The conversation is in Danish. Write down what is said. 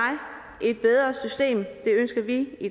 et bedre system det ønsker vi i